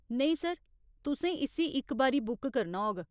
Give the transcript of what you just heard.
नेईं सर, तुसें इस्सी इक बारी बुक करना होग।